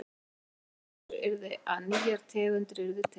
Útkoman úr þessu yrði að nýjar tegundir yrðu til.